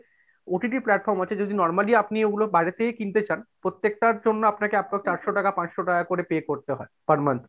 OTT platform আছে যদি normally আপনি ঐগুলো আপনি বাইরে থেকে কিনতে চান, প্রত্যেকটার জন্য আপনাকে চারশো টাকা পাঁচশো টাকা করে pay করতে হয় per month,